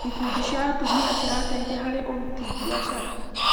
Ikundi cia atumia cirateithia harĩ ũrũti biacara.